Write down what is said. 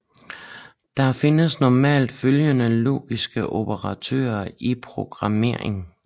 Der findes normalt følgende logiske operatorer i programmering